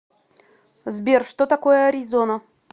сбер что такое аризона